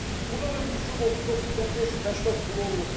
Burda da yüküm 39 ton 580 kilo olub.